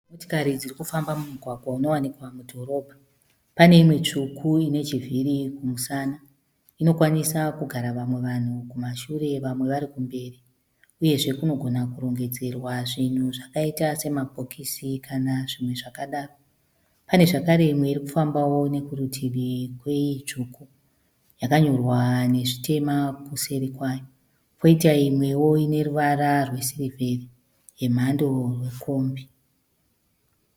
Motokari dzirikufamba mumugwagwa unowanikwa kudhorobha. Paneimwe tsvuku inechivhiri kumusana. Inokwanisa kugara vamwe vanhu kumashure vamwe vari kumberi. Uyezve kunogona kurongedzerwa zvinhu zvakaita semabhokisi kana zvimwe zvakadaro. Pane zvekare imwe irikufambawo kurutivi kweyetsvuku yakanyorwa nezvitema kuseri kwayo. Poita imwe ineruvara rwesirivheri yemhàndo yekombi.